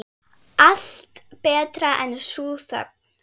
Allt betra en sú þögn.